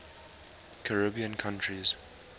caribbean countries